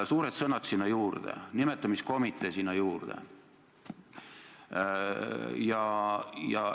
Suured sõnad sinna juurde, nimetamiskomitee sinna juurde.